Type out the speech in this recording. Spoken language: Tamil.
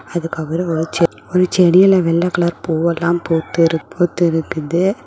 அதுக்கப்புறம் ஒரு செ ஒரு செடியில வெள்ள கலர் பூவெல்லாம் பூத்து பூத்து இருக்குது.